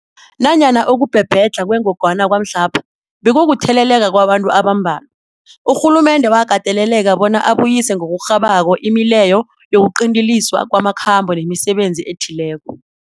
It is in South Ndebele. Nanyana ukubhebhedlha kwengogwana kwamhlapha bekukutheleleka kwabantu abambalwa, urhulumende wakateleleka bona abuyise ngokurhabako imileyo yokuqinteliswa kwamakhambo nemisebenzi ethileko.